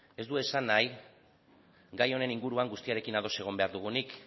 ez du esan nahi gai honen inguruan guztiarekin ados egon behar dugunik